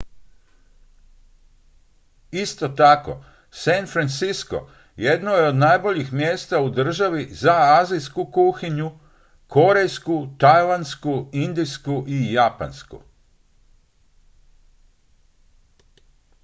isto tako san francisco jedno je od najboljih mjesta u državi za azijsku kuhinju korejsku tajlandsku indijsku i japansku